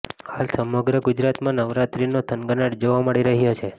હાલ સમગ્ર ગુજરાતમાં નવરાત્રીનો થનગનાટ જોવા મળી રહ્યો છે